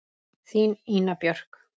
Þín, Ína Björk.